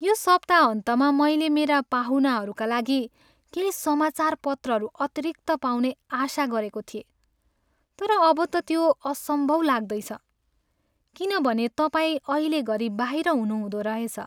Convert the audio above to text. यो सप्ताहन्तमा मैले मेरा पाहुनाहरूका लागि केही समाचार पत्रहरू अतिरिक्त पाउने आशा गरेको थिएँ, तर अब त त्यो असम्भव लाग्दैछ किनभने तपाईँ अहिलेघरी बाहिर हुनुहुँदो रहेछ।